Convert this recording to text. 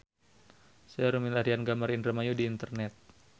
Seueur nu milarian gambar Indramayu di internet